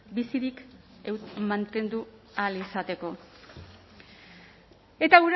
bizirik mantendu ahal izateko eta